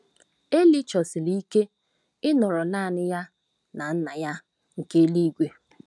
eli chọsiri ike ịnọrọ naanị ya na Nna ya nke eluigwe.